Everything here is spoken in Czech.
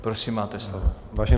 Prosím, máte slovo.